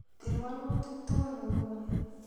Til walutik tokol nguni